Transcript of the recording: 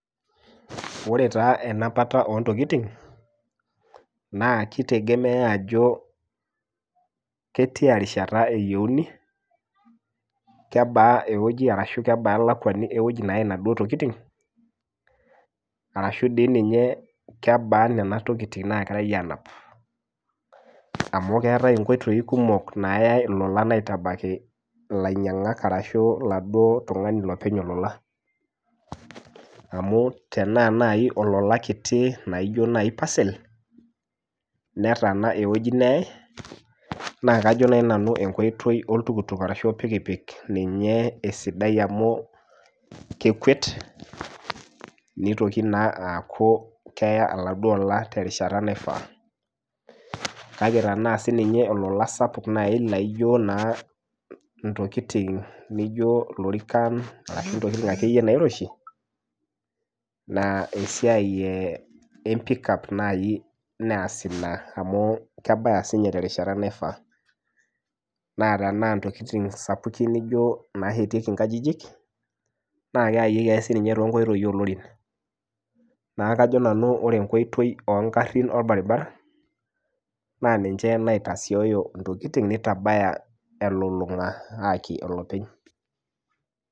Wore taa enapata ontokitin, naa kitegemea aajo ketiarishata eyieuni, kebaa ewoji arashu kebaa elakuani ewoji nayai inaduo tokitin, arashu dii ninye kebaa niana tokitin naakirae aanap. Amu keetae inkoitoi kumok naayae ilolan aitabaka ilainyangak arashu laduo tungani lopeny olola. Amu tenaa naaji olola kiti laijo naai parcel, netaana ewoji nayae, naa kajo naaji nanu enkoitoi oltuktuk arashu orpikipik ninye esiadae amu kekwet, nitoki naa aaku keya oladuo ola terishata naifaa. Kake tenaa sininye olola sapuk nai naijo naa intokitin nijo ilorikan arashu intokitin akeyie nairoshi, naa esiai empikap naai naas inia amu kebaya sininye terishata naifaa, naa tenaa intokitin sapukin nijo naashetieki inkajijik, naa keyayieki sininche toonkoitoi oolorin. Neeku kajo nanu wore enkoitoi oonkarrin olbaribara, naa ninche naitasioyo intokitin nitabaya elulunga aayaki olopeny.